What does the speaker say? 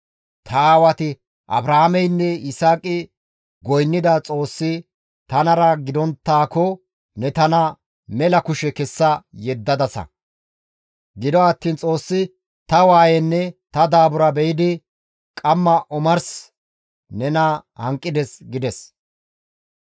Ta aawati Abrahaameynne Yisaaqi goynnida Xoossi tanara gidonttaakko ne tana mela kushe kessa yeddanakoshin Xoossi ta waayenne ta daabura be7idi qamma omars nena hanqides» gides.